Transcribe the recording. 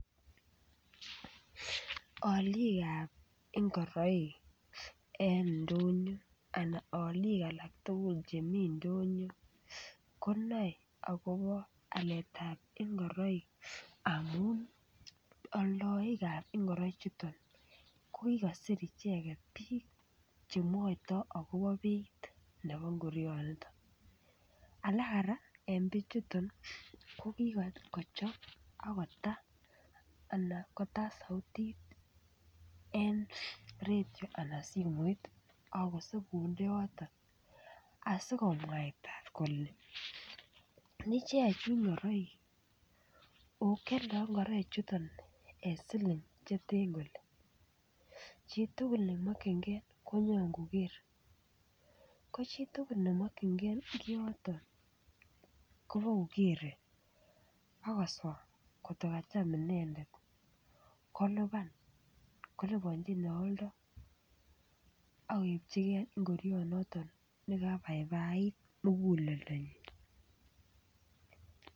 Olikab ngoroik en ndonyo anan olik alak tugul chemi ndonyo konae akobo aletab ngoroik amun oldoikab ingorichuton ko kikosiir icheket biik chemwoiton akobo ngoroichuton. Alaara eng bichuton ko kikochop akotan sautit en retio anan ko simet akosindeoto asikomwaita kole ichechu ngoroik ako kialdoi ngorichuton eng siling che te kole chitukul nemokyingei kobo kokeer inendet akosoj ngotkokacham inendet kolipanji neoldoi akoipchigei ngurionoton nekabaibait muguleldanyi.